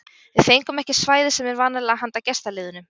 Við fengum ekki svæðið sem er vanalega handa gestaliðunum.